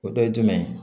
O dɔ ye jumɛn ye